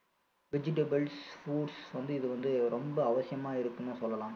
vegetables foods வந்து இது வந்து ரொம்ப அவசியமா இருக்குன்னு சொல்லலாம்